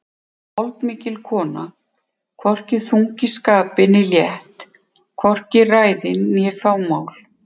Holdmikil kona, hvorki þung í skapi né létt, hvorki ræðin né fámál.